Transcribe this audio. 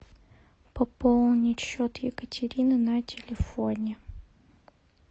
пополнить счет екатерины на телефоне